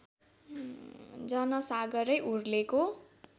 जनसागरै उर्लेको